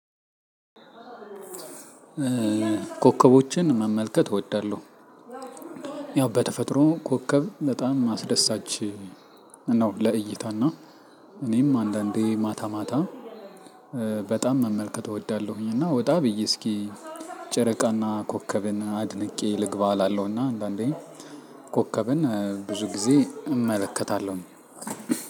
ኮከቦችን መመልከት እወዳለሁ። ያው በተፈጥሮ ኮከብ በጣም አስደሳች ነው። ለእይታ እና እኔም አንዳንዴ ማታ ማታ በጣም መመልከት እወዳለሁኝ። እና ወጣ ብዬ እስኪ ጨረቃና ኮከብን አድንቄ ልግባ እላለሁ። እና አንዳንዴ ኮከብን ብዙ ጊዜ እመለከታለሁኝ።